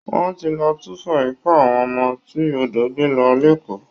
Wọ́n ti lọ túfọ̀ ikú àwọn ọmọ tí odò gbé lọ lÉkòó